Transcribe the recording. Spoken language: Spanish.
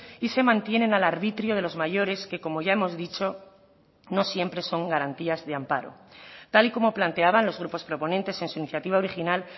y se mantienen al arbitrio de los mayores que como ya hemos dicho no siempre son garantías de amparo tal y como planteaban los grupos proponentes en su iniciativa original